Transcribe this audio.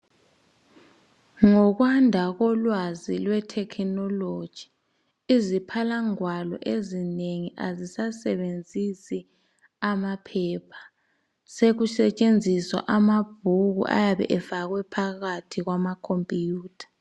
Ngokwanda kolwazi lwe thekinoloji iziphalangwalo ezinengi azisasebenzisi amaphepha sekusetshenzisa amabhuku ayabe efakwe phakathi kwamakhompuyutha